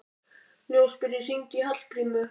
Ljósberi, hringdu í Hallgrímínu.